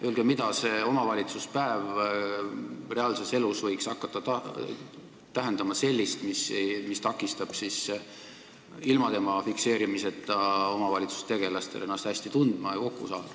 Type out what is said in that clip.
Öelge, mida see omavalitsuspäev reaalses elus võiks hakata tähendama sellist, mis takistab ilma tema fikseerimiseta omavalitsustegelastel ennast hästi tunda ja kokku saada.